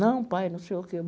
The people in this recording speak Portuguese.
Não, pai, não sei o quê.